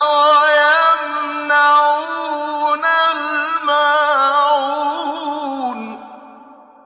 وَيَمْنَعُونَ الْمَاعُونَ